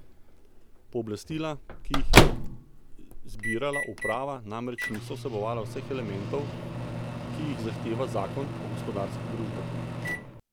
Pooblastila, ki jih je zbirala uprava, namreč niso vsebovala vseh elementov, ki jih zahteva zakon o gospodarskih družbah.